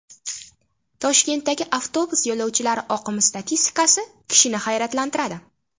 Toshkentdagi avtobus yo‘lovchilari oqimi statistikasi kishini hayratlantiradi.